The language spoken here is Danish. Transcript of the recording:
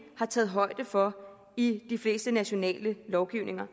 har taget højde for i de fleste nationale lovgivninger